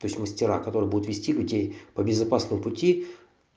то есть мастера которые будут вести таки по безопасному пути